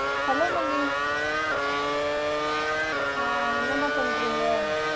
Hello mummy ஆஹ் என்னம்மா பன்றீங்க?